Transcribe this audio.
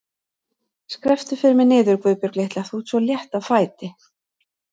Skrepptu fyrir mig niður, Guðbjörg litla, þú ert svo létt á fæti.